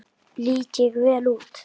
Lít ég vel út?